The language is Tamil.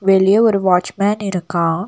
வெளிய ஒரு வாட்ச்மேன் இருக்கான்.